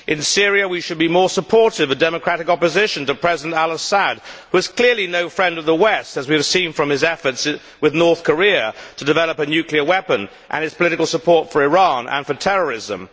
In Syria, we should be more supportive of democratic opposition to President al Assad, who is clearly no friend of the West, as we have seen from his efforts with North Korea to develop a nuclear weapon and his political support for Iran and for terrorism.